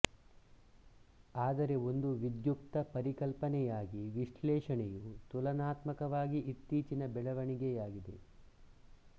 ಆದರೆ ಒಂದು ವಿಧ್ಯುಕ್ತ ಪರಿಕಲ್ಪನೆಯಾಗಿ ವಿಶ್ಲೇಷಣೆಯು ತುಲನಾತ್ಮಕವಾಗಿ ಇತ್ತೀಚಿನ ಬೆಳವಣಿಗೆಯಾಗಿದೆ